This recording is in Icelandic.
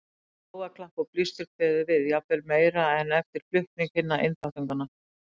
Mikið lófaklapp og blístur kveður við, jafnvel meira en eftir flutning hinna einþáttunganna.